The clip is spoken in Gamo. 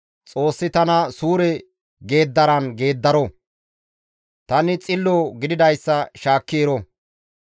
Xoossi tana suure geeddaran geeddaro. Tani xillo gididayssa shaakki ero.